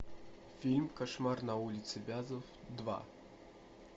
фильм кошмар на улице вязов два